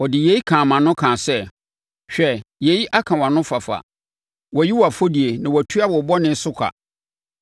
Ɔde yei kaa mʼano kaa sɛ, “Hwɛ, yei aka wʼanofafa, wɔayi wʼafɔdie na wɔatua wo bɔne so ka.”